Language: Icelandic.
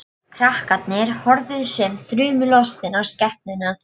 Krakkarnir horfðu sem þrumulostin á skepnuna.